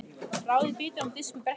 Raðið bitunum á disk eða bretti.